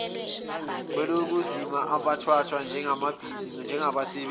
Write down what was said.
kwezokulima abathathwa njengabasebenzi